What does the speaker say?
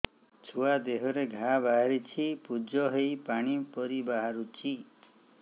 ଛୁଆ ଦେହରେ ଘା ବାହାରିଛି ପୁଜ ହେଇ ପାଣି ପରି ବାହାରୁଚି